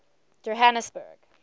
johanesburg